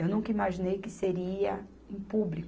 Eu nunca imaginei que seria em públi.